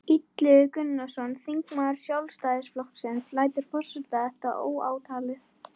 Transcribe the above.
Illugi Gunnarsson, þingmaður Sjálfstæðisflokksins: Lætur forseti þetta óátalið?